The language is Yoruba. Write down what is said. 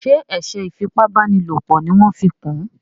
ṣe eṣe ifi ipá báni lọpọ ní wan fí kún?